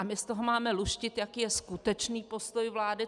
A my z toho máme luštit, jaký je skutečný postoj vlády?